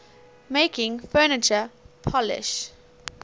making furniture polish